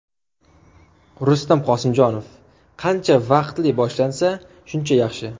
Rustam Qosimjonov: Qancha vaqtli boshlansa, shuncha yaxshi.